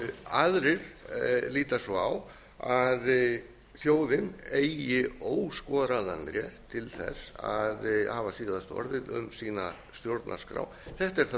aðrir líta svo á að þjóðin eigi óskoraðan rétt til þess að hafa síðasta orðið um sína stjórnarskrá þetta er það